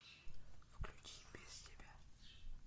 включи без тебя